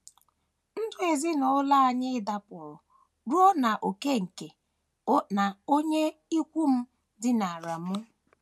Ndụ ezinụlọ anyị dakpọrọ ruo n’ókè nke na onye ikwu m dinara m.